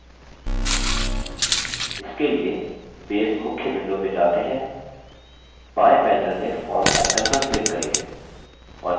इसके लिए base मुख्य window में जाते हैं बाएँ panel में forms icon पर click करिये